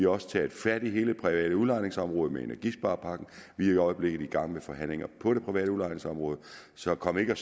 også taget fat i hele det private udlejningsområde med energisparepakken vi er i øjeblikket i gang med forhandlinger på det private udlejningsområde så kom ikke og